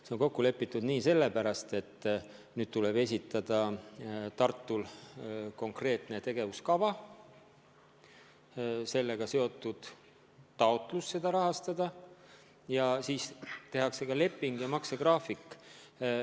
See on kokku lepitud nii sellepärast, et nüüd tuleb Tartul esitada konkreetne tegevuskava ja sellega seotud taotlus programmi rahastada, ja pärast seda tehakse leping ja maksegraafik.